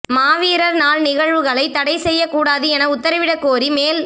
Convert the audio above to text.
மாவீரர் நாள் நிகழ்வுகளை தடை செய்யக் கூடாது என உத்தரவிடக்கோரி மேல்